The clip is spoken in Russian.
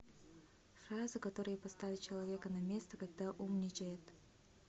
фразы которые поставят человека на место когда умничает